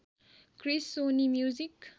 Chris Sony music